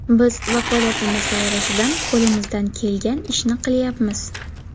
Biz vakolatimiz doirasidan qo‘limizdan kelgan ishni qilyapmiz.